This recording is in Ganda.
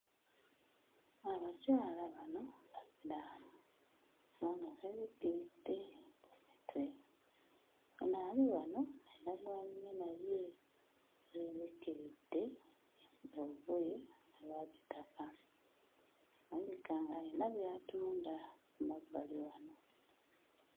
Abakyala bano basiraamu kubanga beebikiridde ku mitwe. Ono ali wano ayina gw'anyumya naye, yeebikkiridde olugoye olwa kitaka. Alabika ng'ayina by'atunda ku mabbali wano.